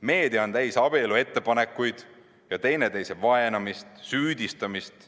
Meedia on täis abieluettepanekuid ja teineteise vaenamist, süüdistamist.